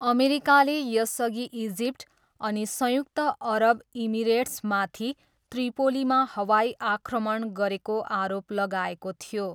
अमेरिकाले यसअघि इजिप्ट अनि संयुक्त अरब इमिरेट्समाथि त्रिपोलीमा हवाई आक्रमण गरेको आरोप लगाएको थियो।